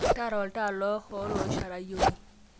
tara oltaa lohool oishorayieki